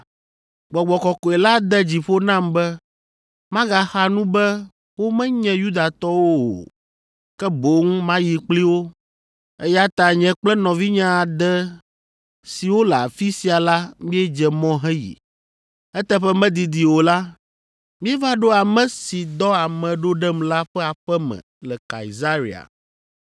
Gbɔgbɔ Kɔkɔe la de dzi ƒo nam be magaxa nu be womenye Yudatɔwo o, ke boŋ mayi kpli wo, eya ta nye kple nɔvinye ade siwo le afi sia la míedze mɔ heyi. Eteƒe medidi o la, míeva ɖo ame si dɔ ame ɖo ɖem la ƒe aƒe me le Kaesarea.